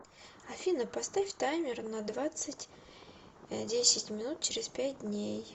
афина поставь таймер на двадцать десять минут через пять дней